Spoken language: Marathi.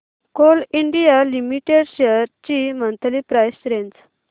कोल इंडिया लिमिटेड शेअर्स ची मंथली प्राइस रेंज